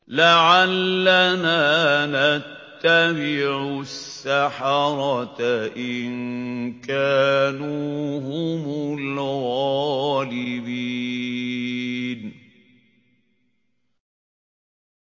لَعَلَّنَا نَتَّبِعُ السَّحَرَةَ إِن كَانُوا هُمُ الْغَالِبِينَ